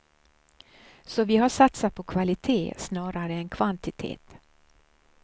Så vi har satsat på kvalite snarare än kvantitet.